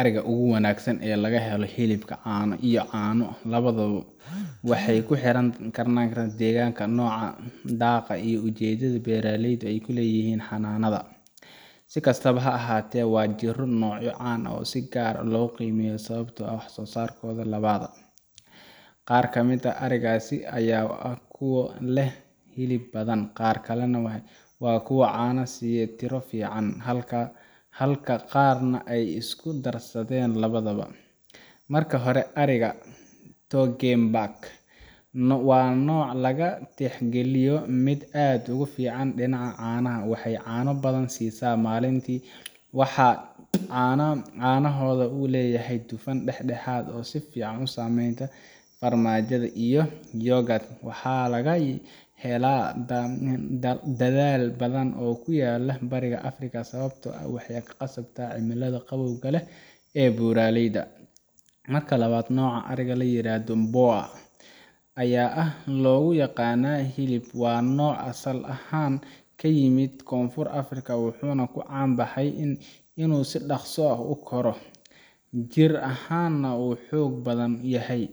Ariga ugu wanagsan ee laga helo hilibka iyo caano lawaduba waxa kuxoran dheganka noca dhaaqa iyo ujeedada beraleyda ay kuleyihin xananada sikastaba ha ahate wa jiro nocyo can ah sigar ah loo qiimeyo sababto ah wax sosarkoda lawada qaar kamid ah arigasi aya ah kuwo leh hilib badan qaar kalana wa kuwo caano siiye tiro fican halka qaar na ay isku darsaden lawadaba marka hore to game back wa noc laga tixgaliyo mid aad ugu fican dinaca caanaha Waxay caano badan sisa malinti waxa canahoda uu leyahay daxdaxad oo si fican usamenta farmajada iyo yogurt waxa laga hela dhadal badan oo kuyalo bariga africa sababto ah waxay kuqasabta cimilada qawowga leh ee buraaleyda marka lawad noca ariga layirahdo Boa aya ah logu yaqana hilib wa nooc asal ahan kayimid konfur africa wuxuna ku caan baxay inu si daqso ah ukoroh jir ahan na wuu xogbadan yahay